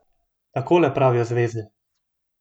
Takole pravijo zvezde.